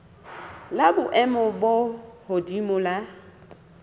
la boemo bo hodimo la